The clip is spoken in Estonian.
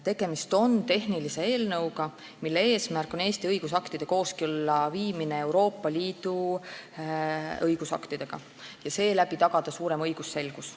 Tegemist on tehnilise eelnõuga, mille eesmärk on Eesti õigusaktide ja Euroopa Liidu õigusaktide kooskõlla viimine, et seeläbi tagada suurem õigusselgus.